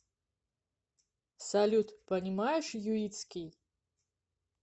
салют понимаешь юитский